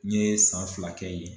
N ye san fila kɛ yeN